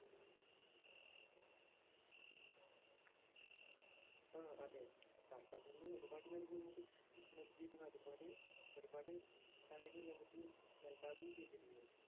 ഉം അതേ. സര്‍ക്കാരില്‍ നിന്ന് ഒരു പാട് കാര്യങ്ങള്‍ നമുക്ക് നല്കിയിരുന്നു. അതുപോലെ ഒരു പാട് കാര്യങ്ങള്‍ നമുക്ക് നല്‍കാതെയും ചെയ്തിരുന്നു.